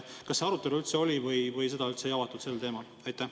Kas see arutelu oli või seda üldse ei avatud sel teemal?